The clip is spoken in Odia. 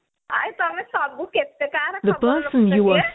ଆଉ ତମେ ସବୁ କେତେ କାହାର ଖବର ରଖୁଛ କିରେ